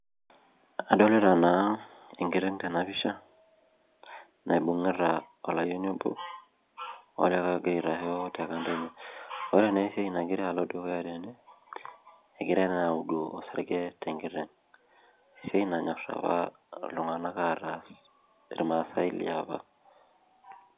Adolita na enkiteng' tenapisha naibungita olayieni obo ogira aitasho tekando ore na esiaia nagira alo dukuya tene egirai na auduu osarge tenkiteng esiai nanyor apa ltunganak ataas irmaasai leapa.